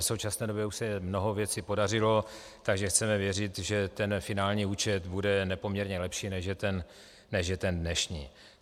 V současné době už se mnoho věcí podařilo, takže chceme věřit, že ten finální účet bude nepoměrně lepší, než je ten dnešní.